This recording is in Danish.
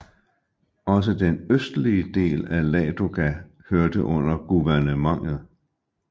Også den østlige del af Ladoga hørte under guvernementet